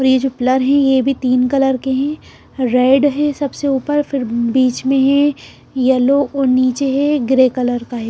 और ये जो प्लान है ये भी तीन कलर के है रेड है सबसे ऊपर फिर बीच में है यलो और नीचे है ग्रे कलर का है।